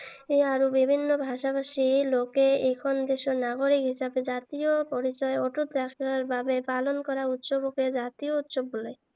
আৰু বিভিন্ন ভাষা ভাষী লোকে এইখন দেশৰ নাগৰিক হিচাপে জাতীয় পৰিচয় অটুত ৰখাৰ বাবে পালন কৰা উৎসৱকে জাতীয় উৎসৱ বোলে।